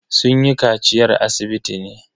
Sun yi kaciyar asibiti ne.